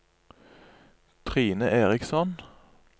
Trine Eriksson